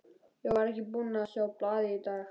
Ég var ekki búinn að sjá blaðið í dag.